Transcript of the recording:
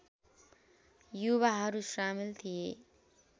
युवाहरू सामेल थिए